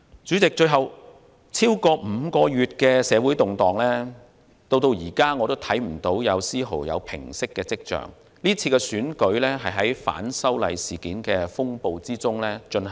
主席，最後，超過5個月的社會動盪，至今仍看不見有絲毫平息的跡象，今次選舉是在反修例事件的風暴中進行。